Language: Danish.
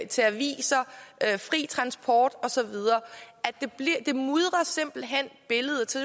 til aviser fri transport og så videre det mudrer simpelt hen billedet så